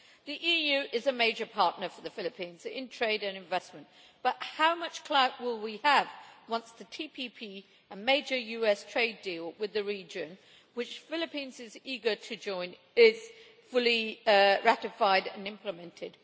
The EU is a major partner for the Philippines in trade and investment, but how much clout will we have once the TPP a major US trade deal with the region which Philippines is eager to join is fully ratified and implemented?